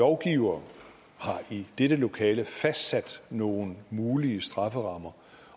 lovgivere har i dette lokale fastsat nogle mulige strafferammer